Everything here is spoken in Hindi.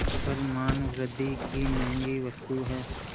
पर मानवृद्वि की महँगी वस्तु है